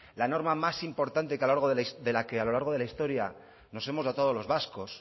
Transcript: la norma más importante de la que a lo largo de la historia nos hemos dotado los vascos